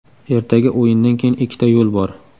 Ertaga o‘yindan keyin ikkita yo‘l bor.